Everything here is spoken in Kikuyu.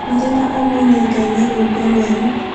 Mũthenya ũmwe nĩngaina rwĩmbo rwerũ